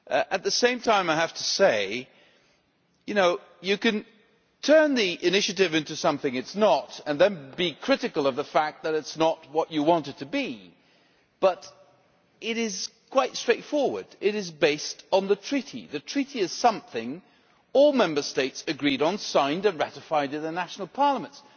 At the same time, you can turn the Initiative into something it is not and then be critical of the fact that it is not what you want it to be, but it is in fact quite straightforward it is based on the Treaty. The Treaty is something all Member States agreed on, signed and ratified in the national parliaments.